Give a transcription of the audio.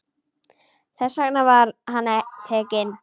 Þess vegna var hann tekinn.